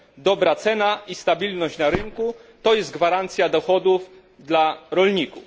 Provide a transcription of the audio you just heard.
Dobra cena i stabilność na rynku to jest gwarancja dochodów dla rolników.